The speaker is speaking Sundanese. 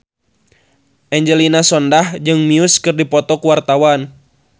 Angelina Sondakh jeung Muse keur dipoto ku wartawan